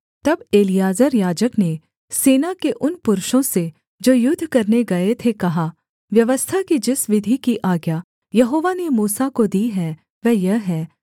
तब एलीआजर याजक ने सेना के उन पुरुषों से जो युद्ध करने गए थे कहा व्यवस्था की जिस विधि की आज्ञा यहोवा ने मूसा को दी है वह यह है